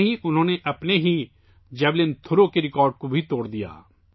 یہی نہیں، انھوں نے اپنے ہی جیویلن تھرو کا ریکارڈ بھی توڑ دیا